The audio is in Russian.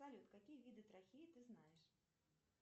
салют какие виды трахеи ты знаешь